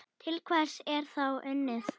Til hvers er þá unnið?